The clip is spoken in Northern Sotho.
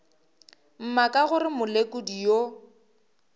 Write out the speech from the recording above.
mma ka gore molekodi yo